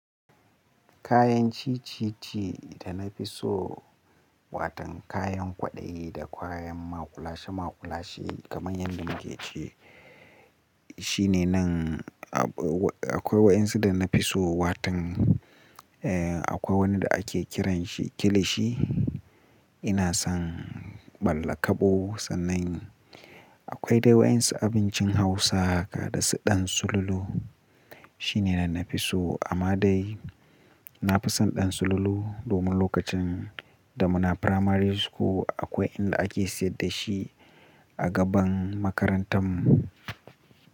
Kayan ci, ci, ci da na fi so watan kayan kwaɗayi da kayan maƙulashe maƙulashe kamar yadda muke ce, shi ne nan akwai waɗansu da na fi so watan, eh akwai wani da ake kiranshi kilishi. Ina son ɓalla ƙabo sannan akwai dai waɗansu abincin Hausa kada su ɗan sululu. Shi ne na na fi so amma dai na fi son ɗan sululu domin lokacin da muna firamari school akwai inda ake sayar da shi a gaban makarantar mu.